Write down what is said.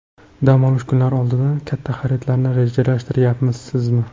Dam olish kunlari oldidan katta xaridlarni rejalashtiryapsizmi?